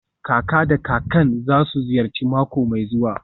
Kaka da kakan za su ziyarci mako mai zuwa.